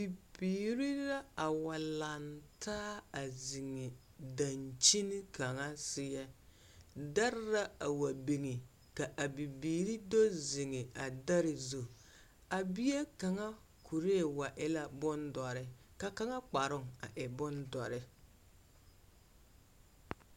Bibiiri la a wa lantaa a zeŋԑ daŋkyini kaŋa seԑ. Dԑre la a wa biŋi ka a bibiiri do zeŋe a dԑre zu. A bie kaŋa kuree wa e la boŋ dͻre ka kaŋa kparoo a e bondͻre.